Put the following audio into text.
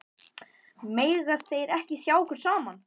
Mega þeir ekki sjá okkur saman?